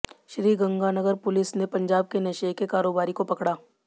Sriganganagar police ने पंजाब के नशे के कारोबारी को पकड़ा